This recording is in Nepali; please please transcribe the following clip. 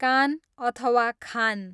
कान, अथवा खान